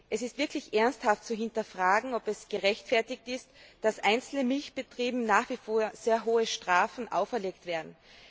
Es ist wirklich ernsthaft zu hinterfragen, ob es gerechtfertigt ist, dass einzelnen Milchbetrieben nach wie vor sehr hohe Strafen auferlegt werden.